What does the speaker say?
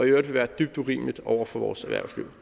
i øvrigt vil være dybt urimeligt over for vores erhvervsliv